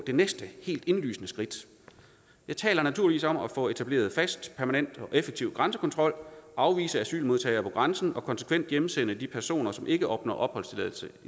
det næste helt indlysende skridt jeg taler naturligvis om at få etableret fast permanent og effektiv grænsekontrol afvise asylmodtagere på grænsen og konsekvent hjemsende de personer som ikke opnår opholdstilladelse